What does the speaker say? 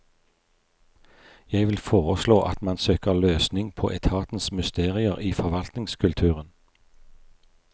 Jeg vil foreslå at man søker løsning på etatens mysterier i forvaltningskulturen.